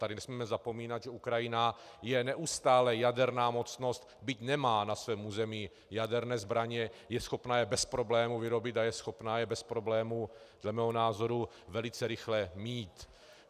Tady nesmíme zapomínat, že Ukrajina je neustále jaderná mocnost, byť nemá na svém území jaderné zbraně, je schopna je bez problému vyrobit a je schopna je bez problému dle mého názoru velice rychle mít.